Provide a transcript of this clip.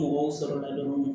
Mɔgɔw sɔrɔla la dɔrɔn